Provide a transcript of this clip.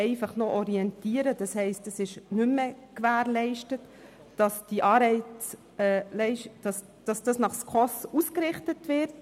Jetzt will man sich bloss noch «orientieren», und das bedeutet, dass nicht mehr gewährleistet ist, dass nach SKOS ausgerichtet wird.